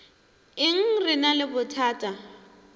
eng re ena le bothata